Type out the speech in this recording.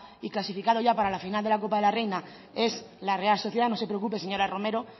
y clasificado ya para la final de la copa de la reina es la real sociedad no se preocupe señora romero